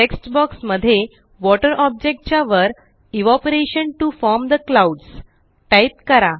text box मध्ये water object च्या वर evaporation to form the clouds type करा